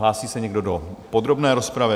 Hlásí se někdo do podrobné rozpravy?